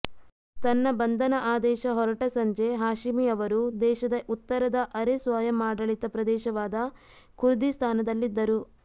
ತನ್ನ ಬಂಧನ ಆದೇಶ ಹೊರಟ ಸಂಜೆ ಹಾಷಿಮಿ ಅವರು ದೇಶದ ಉತ್ತರದ ಅರೆ ಸ್ವಯಮಾಡಳಿತ ಪ್ರದೇಶವಾದ ಖುರ್ದಿಸ್ತಾನದಲ್ಲಿದ್ದರು